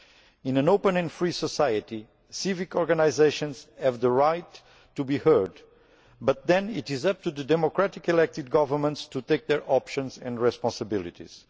In an open and free society civic organisations have the right to be heard, but then it is up to the democratically elected governments to make their choices and assume their responsibilities.